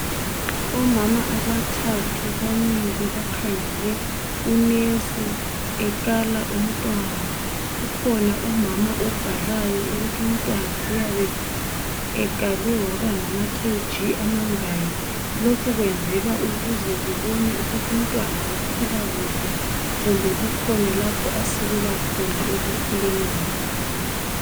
Omama abathathu bamile bakhangele unesi ekala umntwana. Kukhona Umama obhalayo ukuthi umntwana uyabe ekalwe waba ngama kheyiji amangaki lokhu kwenzelwa ukuze kubonwe ukuthi umntwana ukhula kuhle kumbe kukhona lapho asilela khona ekukhuleni kwakhe.